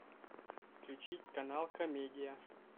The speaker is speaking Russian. включить канал комедия